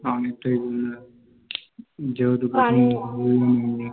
আমার টাই বললাম যতদুর পারি আরকি